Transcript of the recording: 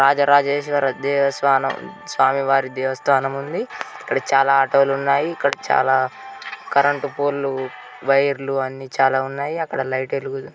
రాజరాజేశ్వర దేవస్వానం స్వామి వారి దేవ స్థానం ఉంది ఇక్కడ చాల ఆటోలు ఉన్నాయి ఇక్కడ చాల కరెంట్ పోల్లు వైర్లు అన్ని చాలా ఉన్నాయి అక్కడ లైట్ ఎలుగు--